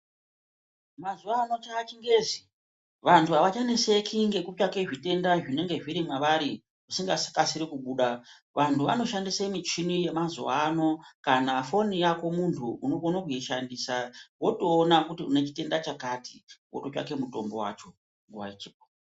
Mazuva ano cha chingezi vantu avacha neseki ngeku tsvake zvitenda zvinenge zviri mavari chisinga kasiri kubuda vantu vao shandisa michini ye mazuva ano kana foni yako muntu unokona kuyi shandisa woto ona kuti une chitenda chakati woto tsvake mutombo wacho nguva ichipo.